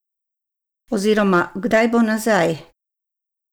Oziroma kdaj bo nazaj?